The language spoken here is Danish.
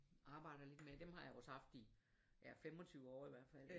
Arbejder lidt med dem har jeg også haft i ja 25 år i hvert fald